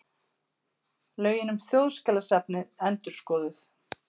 Lögin um Þjóðskjalasafnið endurskoðuð